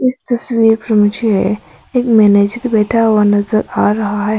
इस तस्वीर में मुझे एक मैनेजर बैठा हुआ नजर आ रहा है।